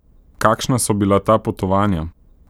Kakšna so bila ta potovanja?